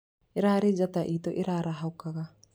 Īrarĩ njata itũ ĩrarahũkaga